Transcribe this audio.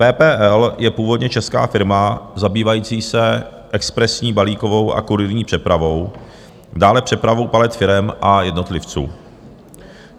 PPL je původně česká firma zabývající se expresní balíkovou a kurýrní přepravou, dále přepravou palet, firem a jednotlivců.